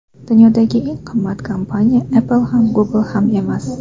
Dunyodagi eng qimmat kompaniya Apple ham, Google ham emas.